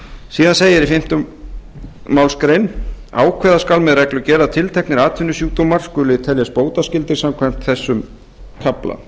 síðan segir í fimmta málsgrein ákveða skal með reglugerð að tilteknir atvinnusjúkdómar skuli teljast bótaskyldir samkvæmt þessum kafla